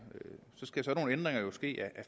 ændringer ske ad